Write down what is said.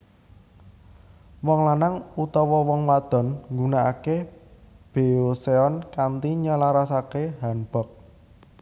Wong lanang utawa wong wadon nggunakake beoseon kanthi nyelasarake hanbok